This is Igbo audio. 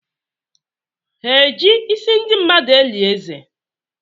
Ha eji isi ndị mmadụ eli eze?